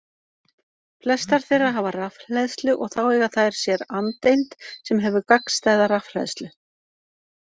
Flestar þeirra hafa rafhleðslu og þá eiga þær sér andeind sem hefur gagnstæða rafhleðslu.